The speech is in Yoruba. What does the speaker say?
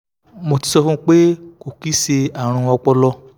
mo ti so fun won pe ko ki se arun opolo